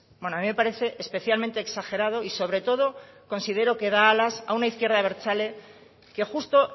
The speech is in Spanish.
bueno a mí me parece especialmente exagerado y sobre todo considero que da alas a una izquierda abertzale que justo